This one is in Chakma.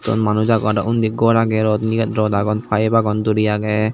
yot manus agon arw undi gor agey rot indi rot agon paep agon duri agey.